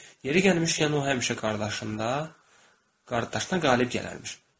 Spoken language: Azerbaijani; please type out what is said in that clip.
Yeri gəlmişkən, o həmişə qardaşında, qardaşına qalib gələrdi.